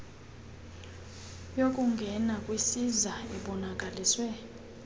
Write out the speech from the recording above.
yokungena kwisiza ebonakaliswe